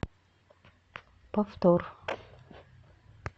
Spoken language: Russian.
повтор